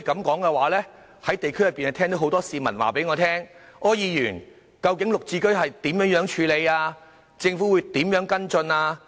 我在地區聽到很多市民問，究竟"綠置居"如何處理；政府會如何跟進？